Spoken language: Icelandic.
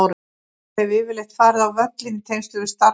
Ég hef yfirleitt farið á völlinn í tengslum við starf mitt.